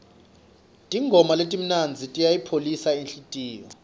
tingoma letimnandzi tiyayipholisa inhlitiyo